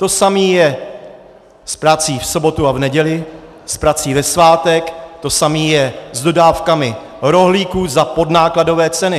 To samé je s prací v sobotu a v neděli, s prací ve svátek, to samé je s dodávkami rohlíků za podnákladové ceny.